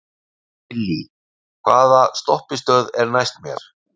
Gillý, hvaða stoppistöð er næst mér?